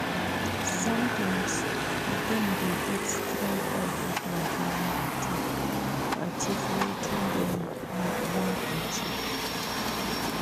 Sometimes dem de get strong backing from family too to achieve wetin dem won achieve